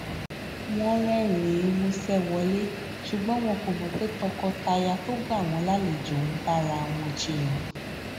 wọn rérìnín músé wọlé ṣùgbọn wọn kò mò pé tọkọtaya tó gbà wón lálejò ń bára wọn jiyàn